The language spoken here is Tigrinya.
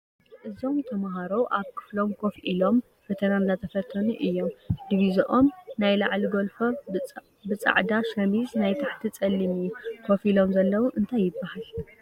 እዞም ተምሃሮ ኣብ ኽፍሎም ኮፍ ኢሎም ፈተና እናተፈተኑ እዮም ድቪዝኦም ናይ ላዕሊ ጎልፎ ብፃኦዳ ሽሚዝ ናይ ታሕቲ ፀሊም እዩ ኮፍ ኢሎሞ ዘልዎ እንታይ ይብሃል?